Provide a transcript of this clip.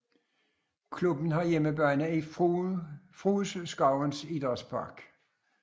Klubben har hjemmebane i Frueskovens Idrætspark